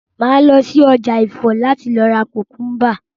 Màá lọ si ọjà Ifọ̀ láti ra kùkúnbà